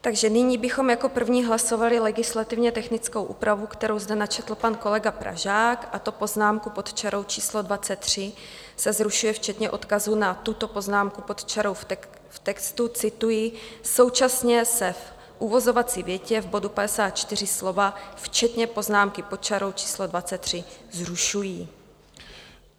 Takže nyní bychom jako první hlasovali legislativně technickou úpravu, kterou zde načetl pan kolega Pražák, a to poznámku pod čarou číslo 23 se zrušuje včetně odkazů na tuto poznámku pod čarou v textu - cituji: "Současně se v uvozovací větě v bodu 54 slova včetně poznámky pod čarou číslo 23 zrušují."